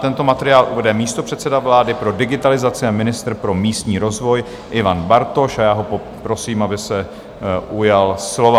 Tento materiál uvede místopředseda vlády pro digitalizaci a ministr pro místní rozvoj Ivan Bartoš a já ho poprosím, aby se ujal slova.